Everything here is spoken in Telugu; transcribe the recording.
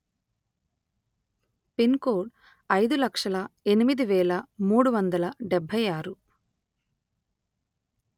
పిన్ కోడ్ అయిదు లక్షల ఎనిమిది వేల మూడు వందల డెబ్బై ఆరు